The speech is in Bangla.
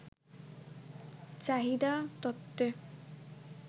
চাহিদা তত্ত্বে